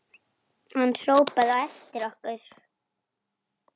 Hann hrópaði á eftir okkur.